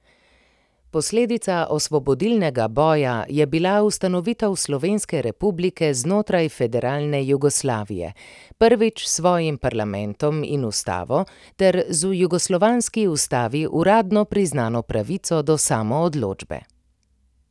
Posledica osvobodilnega boja je bila ustanovitev slovenske republike znotraj federalne Jugoslavije, prvič s svojim parlamentom in ustavo ter z v jugoslovanski ustavi uradno priznano pravico do samoodločbe.